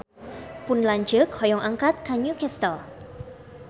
Pun lanceuk hoyong angkat ka New Castle